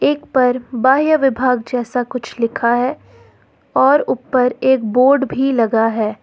एक पर बाह्य विभाग जैसा कुछ लिखा है और ऊपर एक बोर्ड भी लगा है।